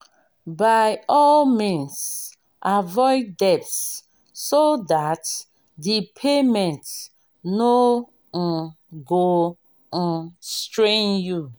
by all means avoid debts so that di payment no um go um strain you